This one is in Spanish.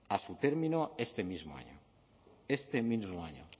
a su término este mismo año este mismo año